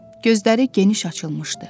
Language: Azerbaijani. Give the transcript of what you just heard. Gözləri geniş açılmışdı.